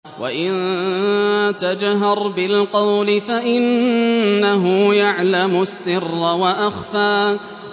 وَإِن تَجْهَرْ بِالْقَوْلِ فَإِنَّهُ يَعْلَمُ السِّرَّ وَأَخْفَى